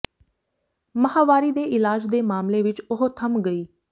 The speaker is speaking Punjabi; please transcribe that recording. ਮਾਹਵਾਰੀ ਦੇ ਇਲਾਜ ਦੇ ਮਾਮਲੇ ਵਿਚ ਉਹ ਥੰਮ ਗਈ